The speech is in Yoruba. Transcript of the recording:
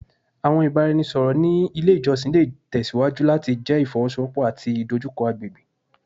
Awọn ibaraẹnisọrọ ni ile ijọsin le tẹsiwaju lati jẹ ifowosowopo ati idojukọ agbegbe